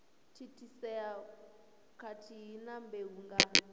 thithisea khathihi na mbeu nga